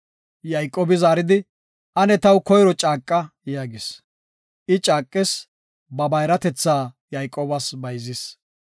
Yayqoobi zaaridi, “Ane taw koyro caaqa” yaagis. I caaqis, ba bayratetha Yayqoobas bayzis.